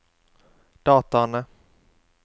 dataene